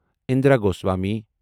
Indira Goswami